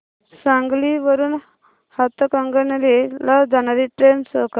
सांगली वरून हातकणंगले ला जाणारी ट्रेन शो कर